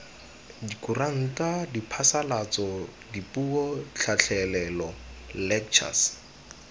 dikuranta diphasalatso dipuo tlhatlhelelo lectures